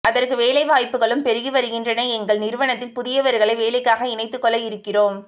அதற்கு வேலை வாய்ப்புகளும் பெருகிவருகின்றன எங்கள் நிறுவனத்தில் புதியவர்களை வேலைக்காக இணைத்துக் கொள்ள இருக்கிறோம்